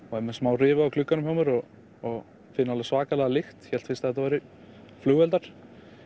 og er með smá rifu á glugganum hjá mér og og finn alveg svakalega lykt ég hélt fyrst að þetta væru flugeldar